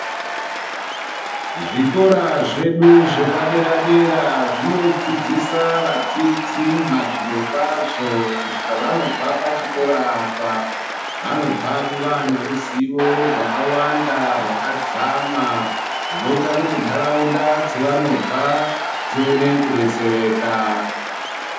Zvikora zvedu zvepadera dera zvinodzidzisa vadzidzi mazviri kwazvo kuti pavanobva pachokora apa vanobva vava neruzivo rwawanda rwakadzama runoita kuti nharaunda dzavo dzavanobva dzione kudetseraka.